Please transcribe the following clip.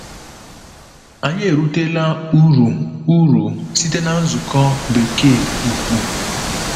Anyị erutela uru uru site na nzukọ Bekee ukwu.